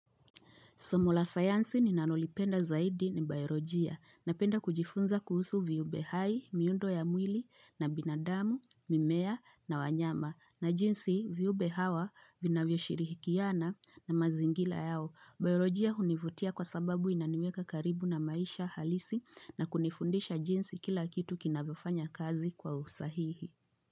Somo la sayansi ni nanolipenda zaidi ni Bayologia na penda kujifunza kuhusu viumbe hai, miundo ya mwili na binadamu, mimea na wanyama na jinsi viumbe hawa vinavyo shirihikiana na mazingila yao. Bayologia hunivutia kwa sababu inaniweka karibu na maisha halisi na kunifundisha jinsi kila kitu kinavyofanya kazi kwa usahihi.